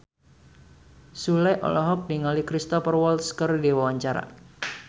Sule olohok ningali Cristhoper Waltz keur diwawancara